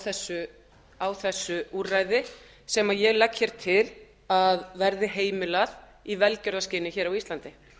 vakin á þessu úrræði sem ég legg til að verði heimilað í velgjörðarskyni á íslandi